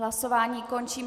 Hlasování končím.